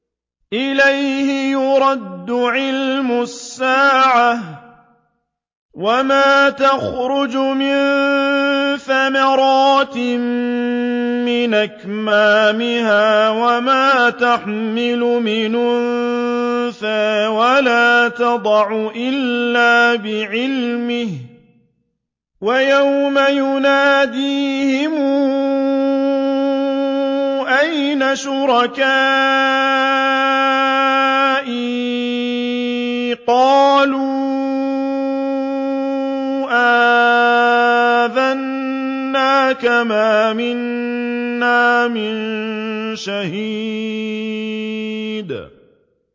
۞ إِلَيْهِ يُرَدُّ عِلْمُ السَّاعَةِ ۚ وَمَا تَخْرُجُ مِن ثَمَرَاتٍ مِّنْ أَكْمَامِهَا وَمَا تَحْمِلُ مِنْ أُنثَىٰ وَلَا تَضَعُ إِلَّا بِعِلْمِهِ ۚ وَيَوْمَ يُنَادِيهِمْ أَيْنَ شُرَكَائِي قَالُوا آذَنَّاكَ مَا مِنَّا مِن شَهِيدٍ